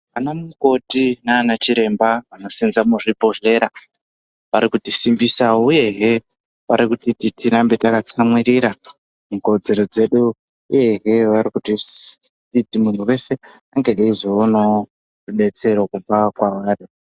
Anamukoti nanachiremba vanosenza muzvibhedhlera varikutisimbisa, uyehe varikutiti tirambe takatsamwirira mukodzero dzedu, uyehe vari kutiti muntu vese ange eizoonavo rubetsero kubva kwavari.